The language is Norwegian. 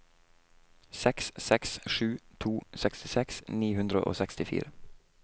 seks seks sju to sekstiseks ni hundre og sekstifire